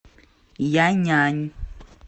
яньань